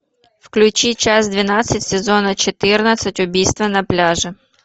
включи часть двенадцать сезона четырнадцать убийство на пляже